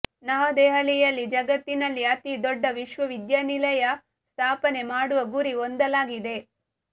ನವದೆಹಲಿಯಲ್ಲಿ ಜಗತ್ತಿನಲ್ಲಿ ಅತಿ ದೊಡ್ಡ ವಿಶ್ವವಿದ್ಯಾನಿಲಯ ಸ್ಥಾಪನೆ ಮಾಡುವ ಗುರಿ ಹೊಂದಲಾಗಿದೆ